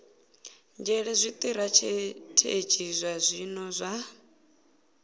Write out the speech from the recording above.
nzhele zwitirathedzhi zwa zwino zwa